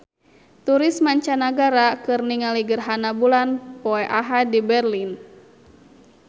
Turis mancanagara keur ningali gerhana bulan poe Ahad di Berlin